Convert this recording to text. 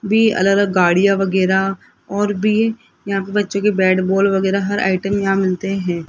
B अलग अलग गाड़िया वगैरा और भी यहाँ पे बच्चो के बैट बॉल वगैरा हर आइटम यहाँ मिलते हैं।